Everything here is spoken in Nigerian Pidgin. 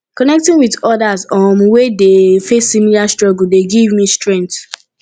connecting with odas um wey dey face similar struggles dey give me strength